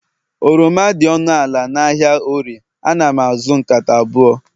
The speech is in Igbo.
oroma dị ọnụ ala n'ahịa orie, ana m azụ nkata abụọ